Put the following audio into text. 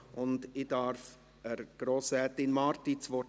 Ich erteile Grossrätin Marti das Wort.